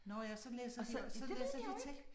Nåh ja så læser så læser de tekst